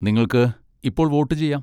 നിങ്ങൾക്ക് ഇപ്പോൾ വോട്ടുചെയ്യാം.